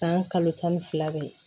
San kalo tan ni fila bɛ yen